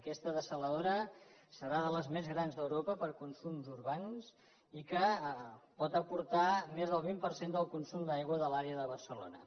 aquesta dessaladora serà de les més grans d’europa per a consums urbans i pot aportar més del vint per cent del consum d’aigua de l’àrea de barcelona